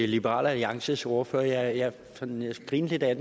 liberal alliances ordfører jeg grinte lidt af